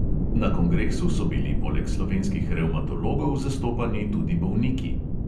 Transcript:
Na kongresu so bili poleg slovenskih revmatologov zastopani tudi bolniki.